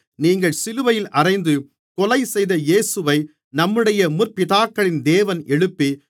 நீங்கள் சிலுவையில் அறைந்து கொலைசெய்த இயேசுவை நம்முடைய முற்பிதாக்களின் தேவன் எழுப்பி